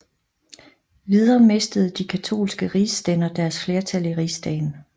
Videre mistede de katolske rigsstænder deres flertal i rigsdagen